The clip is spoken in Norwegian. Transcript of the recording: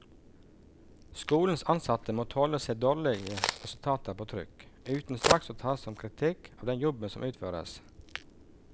Skolens ansatte må tåle å se dårlige resultater på trykk, uten straks å ta det som kritikk av den jobben som utføres.